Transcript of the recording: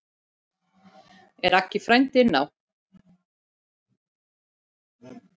Er Aggi frændi inná?